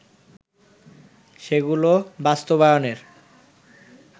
সেগুলো বাস্তবায়নের